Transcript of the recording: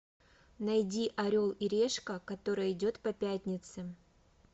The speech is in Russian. найди орел и решка которая идет по пятнице